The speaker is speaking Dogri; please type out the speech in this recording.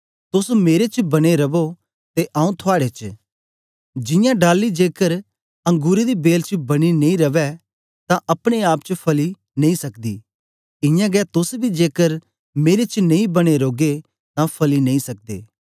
तोस मेरे च बने रवो ते आऊँ थुआड़े च जियां डाली जेकर अंगुरें दी बेल च बनी नेई रवै तां अपने आप च फली नेई सकदी इयां गै तोस बी जेकर मेरे च नेई बने रौगे तां फली नेई सकदे